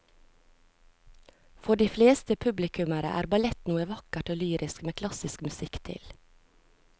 For de fleste publikummere er ballett noe vakkert og lyrisk med klassisk musikk til.